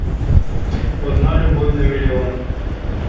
одна любовь на миллион